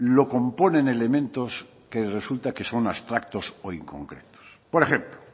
lo componen elementos que resulta que son abstractos o inconcretos por ejemplo